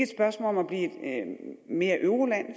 spørgsmål om at blive mere euroland